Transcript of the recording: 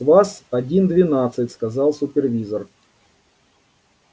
с вас один двенадцать сказал супервизор